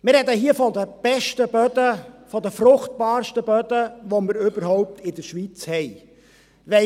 Wir sprechen hier von den besten Böden, von den fruchtbarsten Böden, welche wir in der Schweiz überhaupt haben.